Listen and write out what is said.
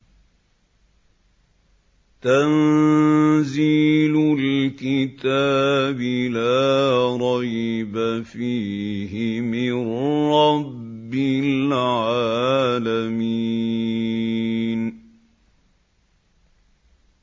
تَنزِيلُ الْكِتَابِ لَا رَيْبَ فِيهِ مِن رَّبِّ الْعَالَمِينَ